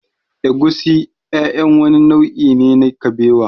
Egusi ƴaƴan wani nau'i ne na kabewa